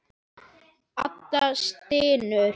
Áhöfn Fróða sakaði ekki.